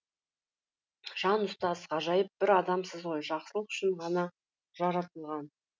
жан ұстаз ғажайып бір адамсыз ғой жақсылық үшін ғана жаратылған